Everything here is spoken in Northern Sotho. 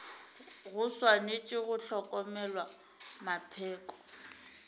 go swanetše go hlokomelwa mapheko